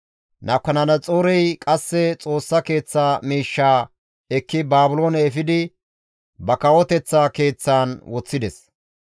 Nabukadanaxoorey qasse Xoossa Keeththa miishshaa ekki Baabiloone efidi ba kawoteththa keeththan woththides.